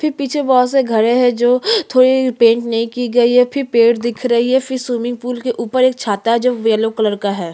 फिर पीछे बहुत से घर है जो थोड़ी पेंट नहीं की गई है फिर पेड़ दिख रही है फिर स्विमिंग पूल के ऊपर एक छाता है जो येलो कलर का है। --